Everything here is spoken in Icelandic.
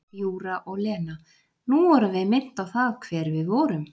Júra og Lena: nú vorum við minnt á það hver við vorum.